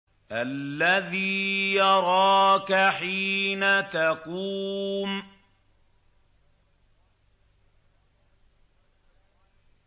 الَّذِي يَرَاكَ حِينَ تَقُومُ